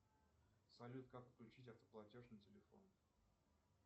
салют как включить автоплатеж на телефоне